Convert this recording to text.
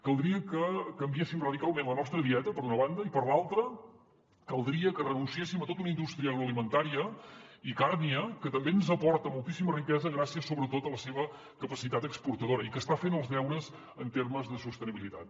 caldria que canviéssim radicalment la nostra dieta per una banda i per l’altra caldria que renunciéssim a tota una indústria agroalimentària i càrnia que també ens aporta moltíssima riquesa gràcies sobretot a la seva capacitat exportadora i que està fent els deures en termes de sostenibilitat